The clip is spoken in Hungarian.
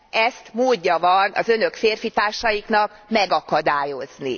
ezt módja van az Önök férfitársainak megakadályozni.